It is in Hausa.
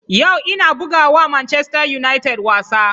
Yau ina buga wa Manchester United wasa.